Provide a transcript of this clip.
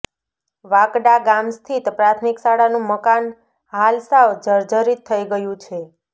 વાંકડા ગામ સ્થિત પ્રાથમિક શાળાનું મકાન હાલ સાવ જર્જરિત થઈ ગયું છે